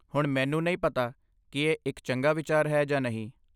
ਹੁਣ ਮੈਨੂੰ ਨਹੀਂ ਪਤਾ ਕਿ ਇਹ ਇੱਕ ਚੰਗਾ ਵਿਚਾਰ ਹੈ ਜਾਂ ਨਹੀਂ।